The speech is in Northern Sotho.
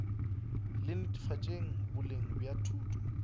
la netefatšo boleng bja thuto